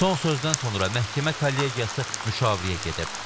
Son sözdən sonra məhkəmə kollegiyası müşavirəyə gedib.